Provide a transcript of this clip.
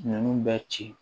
Ninnu bɛ ci